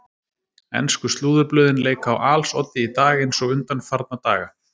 Ensku slúðurblöðin leika á als oddi í dag eins og undanfarnar daga.